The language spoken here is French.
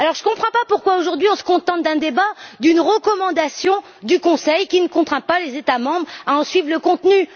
Alors, je ne comprends pas pourquoi, aujourd'hui, nous nous contentons d'un débat, d'une recommandation du Conseil, qui ne contraint pas les États membres à en suivre le contenu.